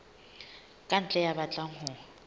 ka ntle ya batlang ho